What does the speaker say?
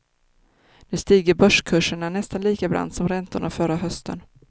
Nu stiger börskurserna nästan lika brant som räntorna förra hösten.